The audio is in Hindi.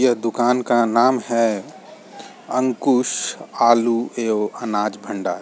ये दुकान का नाम है अंकुश आलू एवं अनाज भंडार।